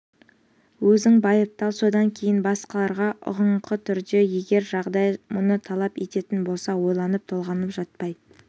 өзің байыптап содан кейін басқаларға ұғыныңқы түрде егер жағдай мұны талап ететін болса ойланып-толғанып жатпай